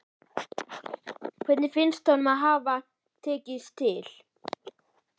Hvernig finnst honum það hafa tekist til?